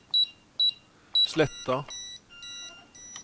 Sletta